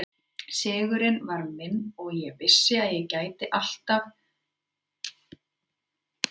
Sigurinn var minn og ég vissi að ég gæti allt sem ég ætlaði mér.